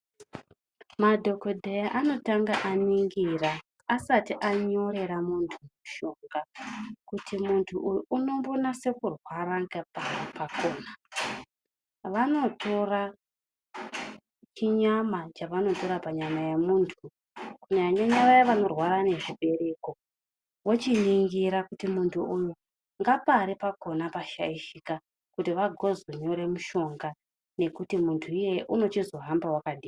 Madhokoteya anotanga aningira asati anyorera muntu mushonga kuti muntu uyu anonyasa kurwara ngepari kwakona. Vanotora chinyama chavanotora panyama yemundu kunyanyanyanya vaya vanorwara nezvibereko vochiningira kuti muntu uyu ngepari pakona pashaishika kuti vagozenyora mushonga wekuti muntu iyeye agozohamba wakadii.